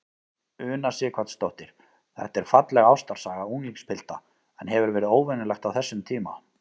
Una Sighvatsdóttir: Þetta er falleg ástarsaga unglingspilta, en hefur verið óvenjulegt á þessum tíma?